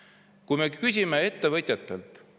ettevõtjatelt.